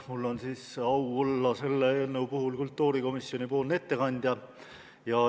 Mul on siis au olla selle eelnõu puhul kultuurikomisjonipoolne ettekandja.